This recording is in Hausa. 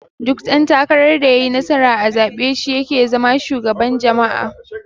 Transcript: Duk dan takarar da yayi nasara a zabe shi yake zama shugaban jama'a.